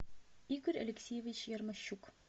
игорь алексеевич ярмощук